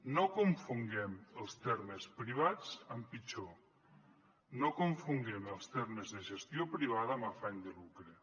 no confonguem els termes privats amb pitjor no confonguem els termes de gestió privada amb afany de lucre